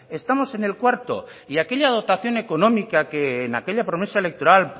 estamos en el cuarto y aquella dotación económica que en aquella promesa electoral